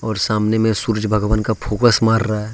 और सामने में सूरज भगवान का फोकस मार रहा है।